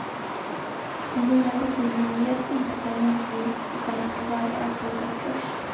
De nya betygen ges inte terminsvis utan efter varje avslutad kurs.